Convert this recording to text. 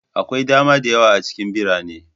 Akwai dama da yawa a cikin birane.